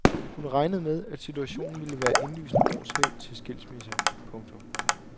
Hun regnede med at situationen ville være indlysende årsag til skilsmisse. punktum